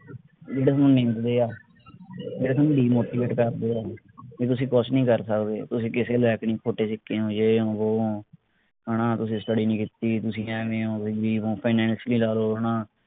ਜਿਹੜੇ ਥੋਨੂੰ ਨਿੰਦਦੇ ਆ ਜਿਹੜੇ ਥੋਨੂੰ demotivate ਕਰਦੇ ਆ ਵੀ ਤੁਸੀਂ ਕੁਸ਼ ਨਹੀਂ ਕਰ ਸਕਦੇ ਤੁਸੀਂ ਕਿਸੇ ਲਾਇਕ ਨਹੀਂ ਖੋਟੇ ਸਿੱਕੇ ਹੋ ਏ ਹੋ ਵੋ ਹੋ ਹਣਾ ਤੁਸੀਂ study ਨਹੀਂ ਕੀਤੀ ਤੁਸੀਂ ਐਵੇਂ ਹੋ weak ਹੋ finacially ਲਾ ਲਓ ਹਣਾ